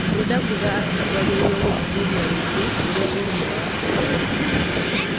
Ndĩrenda kuuga atĩ nĩ twagĩrĩirũo gũthuthuria rĩngĩ ũrĩa Ũrũmwe wa Afrika uvaana.